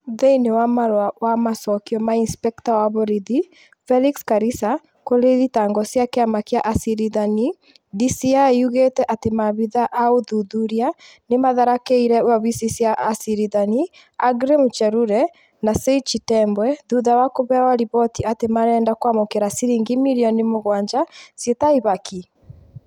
Thĩĩniĩ wa marua wa macokio ma incpekta wa borithi Felix Karisa kuri thitango chia kiama kia acirithania, DCĩ yugite ati maabithaa a uthuthuria ni matharakĩire wabici cia acirithania Aggrey Muchelule na Said Chitembwe thutha wa kuheo riboti ati marenda kwamukira ciringi mirioni mugwanja ciĩ ta ihaki.